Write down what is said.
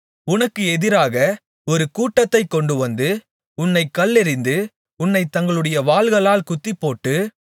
உனக்கு எதிராக ஒரு கூட்டத்தைக் கொண்டுவந்து உன்னைக் கல்லெறிந்து உன்னைத் தங்களுடைய வாள்களால் குத்திபோட்டு